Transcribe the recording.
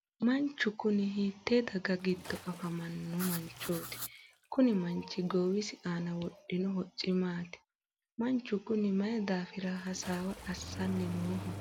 manchi kuni hiite daga giddo afamino manchooti? kuni manchi goowisi aana wodhino hocci maati? manchu kuni mayii daafira hasaawa assanni nooho?